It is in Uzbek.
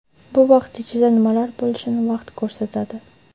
Bu vaqt ichida nimalar bo‘lishini vaqt ko‘rsatadi.